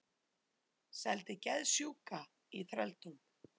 Seldi geðsjúka í þrældóm